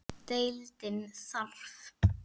Deildin þarf